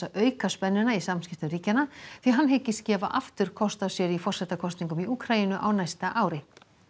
auka spennuna í samskiptum ríkjanna því hann hyggist gefa aftur kost á sér í forsetakosningum í Úkraínu á næsta ári